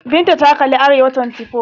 Binta ta kalli Arewa24.